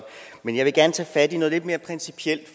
men jeg vil gerne tage fat i noget lidt mere principielt